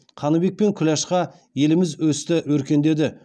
қаныбек пен күләшқа еліміз өсті өркендеді